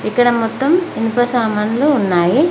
ఇక్కడ మొత్తం ఇనుప సామాన్లు ఉన్నాయి.